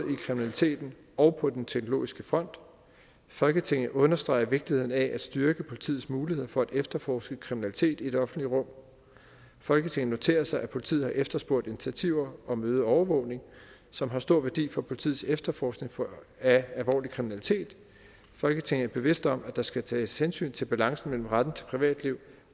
kriminaliteten og på den teknologiske front folketinget understreger vigtigheden af at styrke politiets muligheder for at efterforske kriminalitet i det offentlige rum folketinget noterer sig at politiet har efterspurgt initiativer om øget overvågning som har stor værdi for politiets efterforskning af alvorlig kriminalitet folketinget er bevidst om at der skal tages hensyn til balancen mellem retten til privatliv